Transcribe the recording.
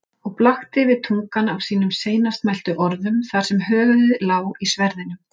Og blakti við tungan af sínum seinast mæltu orðum þar sem höfuðið lá í sverðinum.